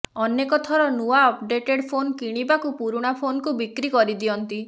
ଅନେକ ଥର ନୂଆ ଅପଡେଟେଡ୍ ଫୋନ କିଣିବାକୁ ପୁରୁଣା ଫୋନକୁ ବିକ୍ରି କରିଦିଅନ୍ତି